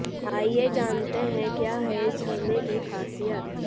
आइए जानते हैं क्या है इस झरने की खासियत